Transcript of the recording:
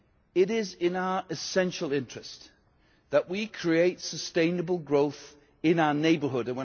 It is in our essential interest that we create sustainable growth in our neighbourhood.